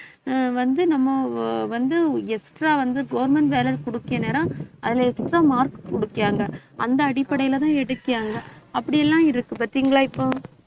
ஆஹ் வந்து நம்ம வந்து extra வந்து government வேலை அதுல extra mark குடுத்தாங்க அந்த அடிப்படையிலதான் எடுத்தாங்க அப்படியெல்லாம் இருக்கு பாத்தீங்களா இப்போ